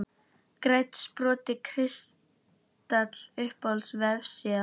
Grænn sport kristall Uppáhalds vefsíða?